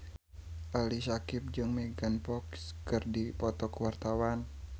Ali Syakieb jeung Megan Fox keur dipoto ku wartawan